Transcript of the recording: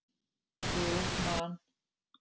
Jú Man.